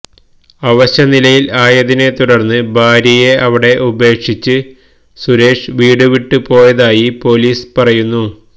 അവശനിലയിൽ ആയതിനെ തുടർന്ന് ഭാര്യയെ അവിടെ ഉപേക്ഷിച്ച് സുരേഷ് വീട് വിട്ടുപോയതായി പൊലീസ് പറയുന്നു